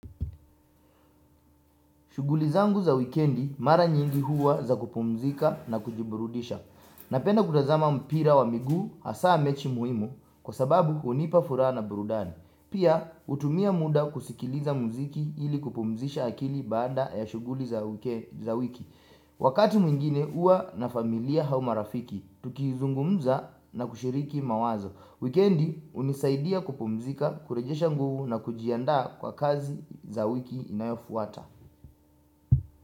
Shughuli zangu za wikendi mara nyingi huwa za kupumzika na kujiburudisha. Napenda kutazama mpira wa migu hasa mechi muhimu kwa sababu hunipa furaha na burudani. Pia hutumia muda kusikiliza mziki ili kupumzisha akili baada ya shuguli za wiki. Wakati mwingine huwa na familia au marafiki, tukizungumza na kushiriki mawazo. Wikendi unisaidia kupumzika, kurejesha nguvu na kujiandaa kwa kazi za wiki inayofuata.